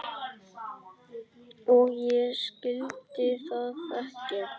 Og ég skildi það ekki.